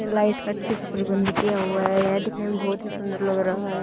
ने लाइट का अच्छे से प्रबंध किया हुआ है दिखने में बहुत ही सुंदर लग रहा है।